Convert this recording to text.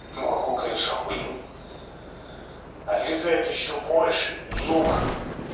ну хохол конечно ахуел отрезает ещё больше кусок